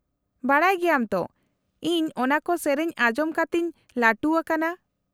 -ᱵᱟᱰᱟᱭ ᱜᱮᱭᱟᱢ ᱛᱚ, ᱤᱧ ᱚᱱᱟᱠᱚ ᱥᱮᱹᱨᱮᱹᱧ ᱟᱸᱡᱚᱢ ᱠᱟᱛᱮᱧ ᱞᱟᱹᱴᱩ ᱟᱠᱟᱱᱟ ᱾